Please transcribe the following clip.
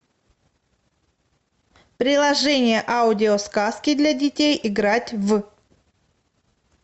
приложение аудиосказки для детей играть в